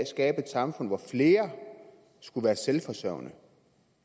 skabe et samfund hvor flere skulle være selvforsørgende